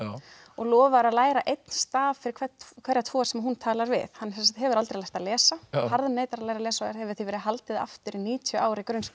og lofar að læra einn staf fyrir hverja tvo sem hún talar við hann hefur aldrei lært að lesa harðneitar að læra að lesa og hefur því verið haldið í níutíu ára í grunnskóla